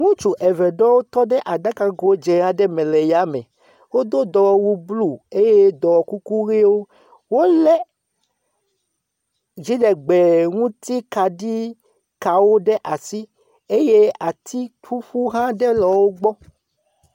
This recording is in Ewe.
Ŋutsu eve ɖewo tɔ ɖe aɖago dze aɖe me le ya me, wodo dɔwɔwu blu eye dɔwɔkukuʋewo. Wolé dziɖegbeŋutikaɖiwo ɖe asi eye ati ƒuƒu aɖe hã aɖe le wo gbɔ.